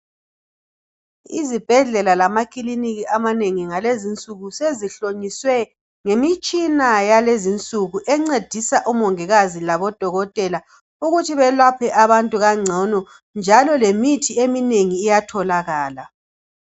Izibhedlela lamakiliniki amanengi ngalezinsuku sezihlonyiswe ngemitshina yalezinsuku encedisa omongikazi labodokotela ukuthi belaphe abantu kangcono njalo lemithi eminengi iyatholakala.